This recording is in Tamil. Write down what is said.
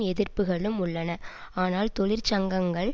எதிர்ப்புக்களும் உள்ளன ஆனால் தொழிற்சங்கங்கள்